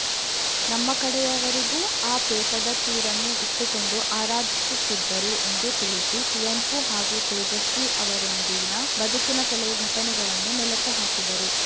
ನಮ್ಮ ಕಡೆಯವರಿಗೂ ಆ ಪೇಟದ ಚೂರನ್ನು ಇಟ್ಟುಕೊಂಡು ಆರಾಧಿಸುತ್ತಿದ್ದರು ಎಂದು ತಿಳಿಸಿ ಕುವೆಂಪು ಹಾಗೂ ತೇಜಸ್ವಿ ಅವರೊಂದಿಗಿನ ಬದುಕಿನ ಕೆಲವು ಘಟನೆಗಳನ್ನು ಮೆಲುಕು ಹಾಕಿದರು